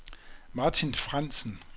Martin Frandsen